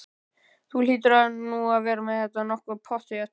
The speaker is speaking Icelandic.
Þú hlýtur nú að vera með þetta nokkuð pottþétt?